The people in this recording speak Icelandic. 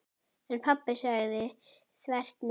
En pabbi sagði þvert nei.